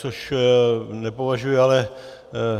Což nepovažuji ale